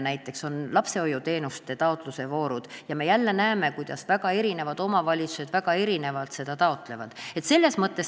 Näiteks on olemas lapsehoiuteenuste taotluse voorud ja me jälle näeme, kuidas omavalitsused taotlevad seda väga erinevalt.